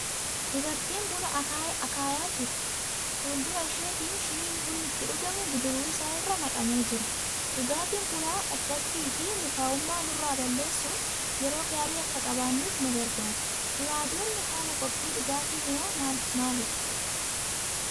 Dubartii buna akaayaa jirtu. Fuul-dura isheetiin shiniin bunni ittiin dhugamu bidiruu isaa irra naqamee jira. Dhugaatiin bunaa dadhabbiifi mukaa'ummaa nurraa balleessuun yeroo gaarii akka qabaannuuf nu gargaara. Duraa duubni haala qophii dhugaatii bunaa maal maalidha?